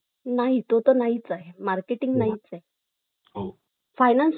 कर्मचार् वाढल्या ची मैत्री पूर्व संवाद तुटला ने एकटेपणा जाणवू लागला आता